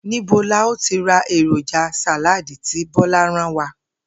Níbo la óò ti ra èròjà sàláàdì tí Bó̩lá rán wa?